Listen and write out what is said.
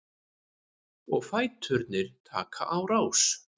Og fæturnir taka á rás.